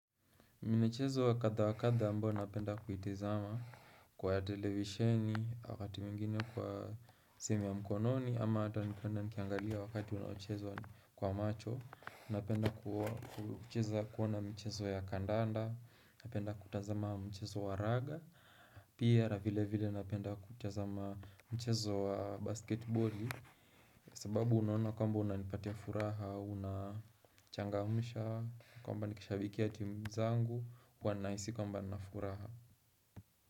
Michezo wa kadha wa kadha ambayo napenda kuitazama kwa televisheni wakati mwingine kwa simu ya mkononi ama hata nikwenda nikiangalia wakati unaochezwa kwa macho Napenda kucheza kuona michezo ya kandanda, napenda kutazama mchezo wa raga, pia na vile vile napenda kutazama mchezo wa basketboli sababu unaona kwamba unanipatia furaha, unachangamsha, kwamba nikishabikia timu zangu, huwa nahisi kwamba nina furaha.